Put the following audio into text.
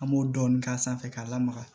An b'o dɔɔnin k'a sanfɛ k'a lamaga